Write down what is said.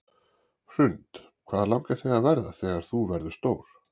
Hrund: Hvað langar þig að verða þegar þú verður stór?